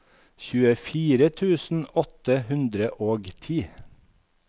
tjuefire tusen åtte hundre og ti